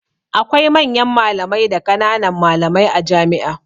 Akwai manyan malamai da ƙanan malamai a jami'a